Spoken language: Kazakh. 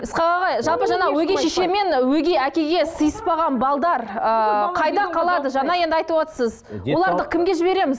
ысқақ аға жалпы жаңағы өгей шеше мен өгей әкеге сыйыспаған ыыы қайда қалады жаңа енді айтывотсыз оларды кімге жібереміз